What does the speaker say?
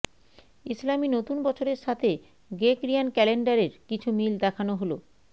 ইসলামি নতুন বছরের সাথে গ্রেগরিয়ান ক্যালেন্ডারের কিছু মিল দেখানো হলোঃ